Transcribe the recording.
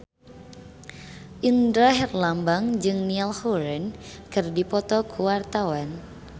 Indra Herlambang jeung Niall Horran keur dipoto ku wartawan